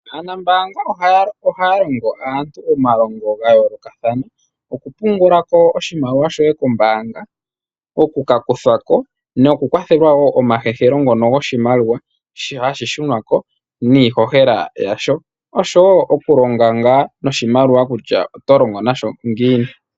Aanambanga ohaya longo aantu omalongo ga yoolokathana oku pungulako oshimaliwa shoye kombanga, okuka kuthako noku kwathelwa omakwathelo ngono goshimaliwa shono hashi shunwa ko niihihela yasho noku longa noshimaliwa kutya oto longo nasho ngiini.